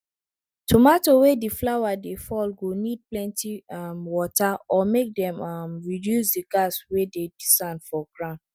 tomato wey di flower dey fall go need plenty um water or make dem um reduce di gas wey dey di sand for grand